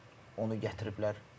Onu gətiriblər.